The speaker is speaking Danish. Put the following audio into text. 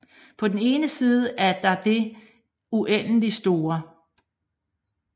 På den ene side er der det uendeligt store